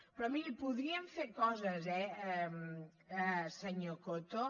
però mirin podríem fer coses eh senyor coto